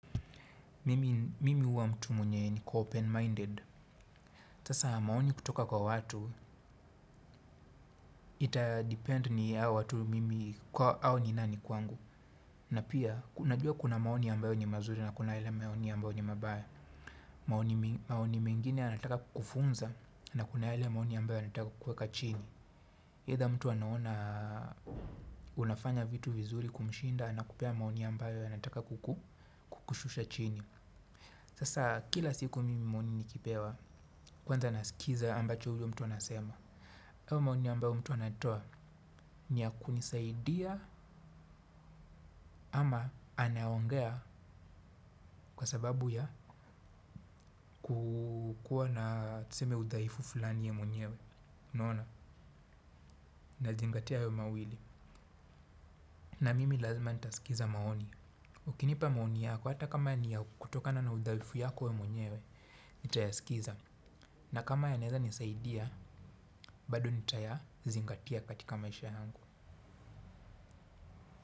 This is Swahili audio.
Mimi huwa mtu mwenye niko open-minded. Sasa maoni kutoka kwa watu, ita depend ni ya watu mimi kwa au ni nani kwangu. Na pia, unajua kuna maoni ambayo ni mazuri na kuna yale maoni ambayo ni mabaya. Maoni mengine yanataka kukufunza na kuna yale maoni ambayo yanataka kukuweka chini. Either mtu anaona unafanya vitu vizuri kumshinda na kupea maoni ambayo anataka kukushusha chini. Sasa kila siku mimi maoni nikipewa kwanza nasikiza ambacho huyo mtu anasema. Hayo maoni ambayo mtu anatoa ni ya kunisaidia ama anaongea kwa sababu ya kukuwa na tuseme udhaifu fulani ya mwenyewe. Unaona, nazingatia hayo mawili. Na mimi lazima ntaskiza maoni. Ukinipa maoni yako hata kama ni ya kutokana na udhaifu yako we mwenyewe, nitayasikiza. Na kama yanaeza nisaidia, bado nitayazingatia katika maisha yangu.